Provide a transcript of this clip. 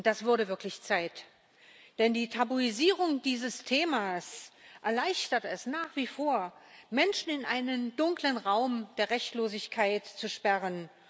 Das wurde wirklich Zeit, denn die Tabuisierung dieses Themas erleichtert es nach wie vor, Menschen in einen dunklen Raum der Rechtlosigkeit zu sperren.